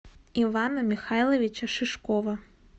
ивана михайловича шишкова